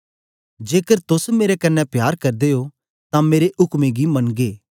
जेकर तोस मेरे कन्ने प्यार करदे ओ तां मेरे उक्में गी मनगे